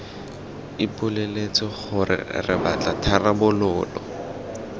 ipoleletse gore re batla tharabololo